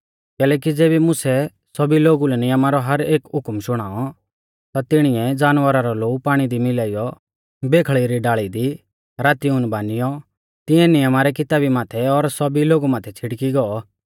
कैलैकि ज़ेबी मुसै सौभी लोगु लै नियमा रौ हर एक हुकम शुणाऔ ता तिणीऐ जानवरा रौ लोऊ पाणी दी मिलाइयौ बेखल़ी री डाल़ी दी राती ऊन बानियौ तिऐं नियमा री किताबी माथै और सौभी लोगु माथै छ़िड़की गौ